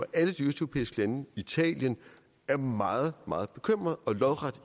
alle de østeuropæiske lande i italien er meget meget bekymrede og lodret